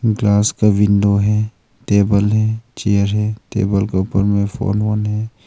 Glass का window है table है चेयर है टेबल के ऊपर में फोन ओन हैं।